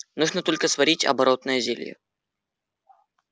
нужно только сварить оборотное зелье